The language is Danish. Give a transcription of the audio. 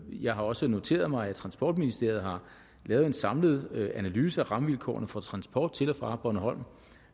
jeg har også noteret mig at transportministeriet har lavet en samlet analyse af rammevilkårene for transport til og fra bornholm og